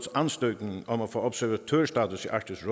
ansøgning om at få observatørstatus i arktisk